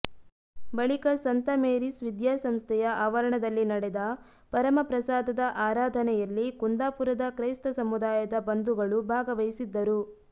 ಬಳಿಕ ಸಂತ ಮೇರಿಸ್ ವಿದ್ಯಾ ಸಂಸ್ಥೆಯ ಆವರಣದಲ್ಲಿ ನಡೆದ ಪರಮ ಪ್ರಸಾದದ ಆರಾಧನೆಯಲ್ಲಿ ಕುಂದಾಪುರದ ಕ್ರೈಸ್ತ ಸಮುದಾಯದ ಬಂಧುಗಳು ಭಾಗವಹಿಸಿದ್ದರು